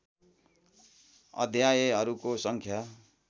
अध्यायहरूको सङ्ख्या